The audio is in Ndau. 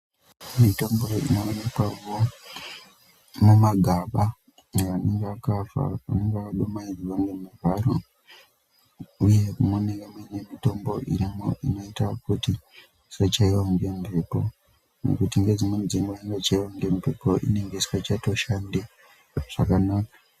Mitombo inoonekwawo mumagaba inenge yakadumaidzwa nemivharo uye munenge mune mitombo inenge irimo inoita kuti tisachaiwa nemhepo ngekuti nedzimweni dzenguwa inochaiwa nembepo inenge isingachashandi zvakanaka.